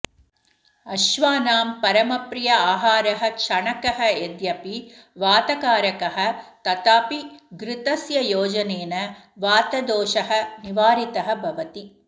अश्वानां परमप्रियः आहारः चणकः यद्यपि वातकारकः तथापि घृतस्य योजनेन वातदोषः निवारितः भवति